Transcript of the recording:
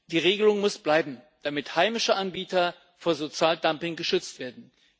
Die Regelung muss bleiben, damit heimische Anbieter vor Sozialdumping geschützt werden.